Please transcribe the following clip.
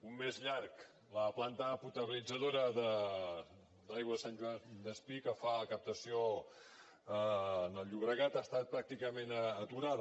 un mes llarg la planta potabilitzadora d’aigua de sant joan despí que fa la captació en el llobregat ha estat pràcticament aturada